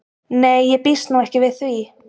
Nei ég býst nú ekki við því.